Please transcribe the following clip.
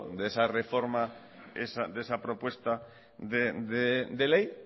de esa reforma de esa propuesta de ley